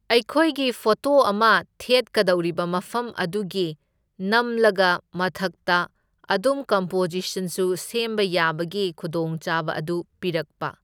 ꯑꯩꯈꯣꯏꯒꯤ ꯐꯣꯇꯣ ꯑꯃ ꯊꯦꯠꯀꯗꯧꯔꯤꯕ ꯃꯐꯝ ꯑꯗꯨꯒꯤ ꯅꯝꯂꯒ ꯃꯊꯛꯇ ꯑꯗꯨꯝ ꯀꯝꯄꯣꯖꯤꯁꯟꯁꯨ ꯁꯦꯝꯕ ꯌꯥꯕꯒꯤ ꯈꯨꯗꯣꯡꯆꯥꯕ ꯑꯗꯨ ꯄꯤꯔꯛꯄ꯫